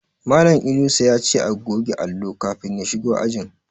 Malan Inusa yace a goge allo kafin ya shigo ajin